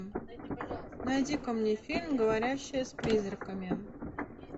найди ка мне фильм говорящая с призраками